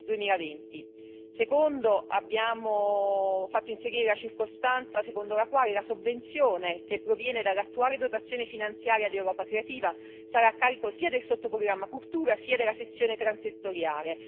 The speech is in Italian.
2020. Secondo abbiamo fatto inserire la circostanza secondo la quale la sovvenzione che proviene dall'attuale dotazione finanziaria di Europa creativa sarà a carico sia del sottoprogramma Cultura, sia della sezione transettoriale.